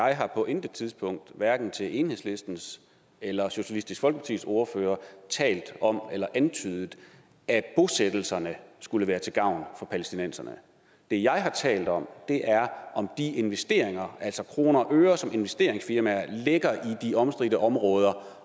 jeg har på intet tidspunkt hverken til enhedslistens eller socialistisk folkepartis ordfører talt om eller antydet at bosættelserne skulle være til gavn for palæstinenserne det jeg har talt om er om de investeringer altså kroner og øre som investeringsfirmaer lægger i de omstridte områder